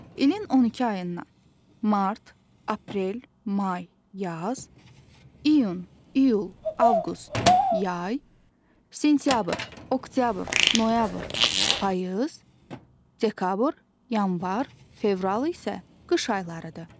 İlin 12 ayından: mart, aprel, may - yaz; iyun, iyul, avqust - yay; sentyabr, oktyabr, noyabr - payız; dekabr, yanvar, fevral isə qış aylarıdır.